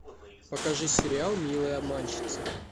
покажи сериал милые обманщицы